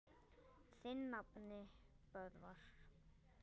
Þinn nafni, Böðvar.